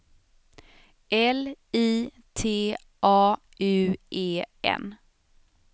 L I T A U E N